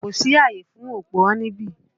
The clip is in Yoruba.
Kò sí àyè fún òpùrọ́ níbí!